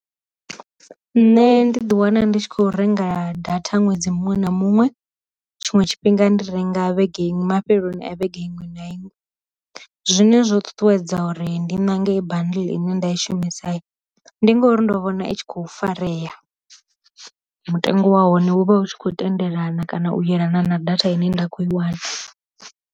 Nṋe ndi ḓi wana ndi tshi kho renga data ṅwedzi muṅwe na muṅwe, tshiṅwe tshifhinga ndi renga vhege iṅwe mafheloni a vhege iṅwe na iṅwe, zwine zwo ṱuṱuwedza ndi nange bundle ine nda i shumisa, ndi ngori ndo vhona i tshi kho farea mutengo wa hone hu vha hu tshi khou tendelana kana u yelana na data ine nda kho i wana.